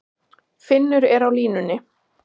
Finnur er á línunni.